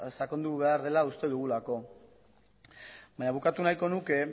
sakondu behar dela uste dugulako baina bukatu nahiko nuke